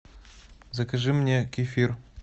закажи мне кефир